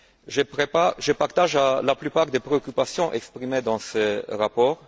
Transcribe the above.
Je partage la plupart des préoccupations exprimées dans ce rapport.